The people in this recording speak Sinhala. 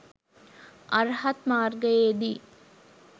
අර්හත් මාර්ගයේදී